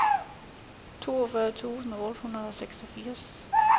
toogfyrre tusind otte hundrede og seksogfirs